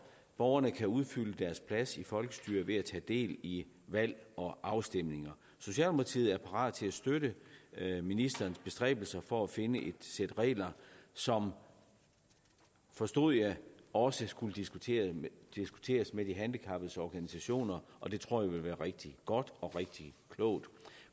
borgerne kan udfylde deres plads i folkestyret ved at tage del i valg og afstemninger socialdemokratiet er parat til at støtte ministerens bestræbelser for at finde et sæt regler som forstod jeg også skulle diskuteres med de handicappedes organisationer og det tror jeg ville være rigtig godt og rigtig klogt